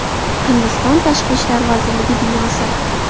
Hindiston tashqi ishlar vazirligi binosi.